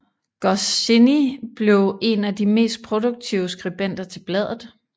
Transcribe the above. Goscinny blev en af de mest produktive skribenter til bladet